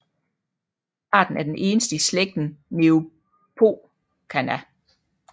Arten er den eneste i slægten Neophocaena